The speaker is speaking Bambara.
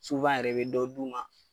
yɛrɛ i bɛ dɔ d'u ma.